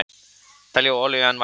Telja olíu enn vætla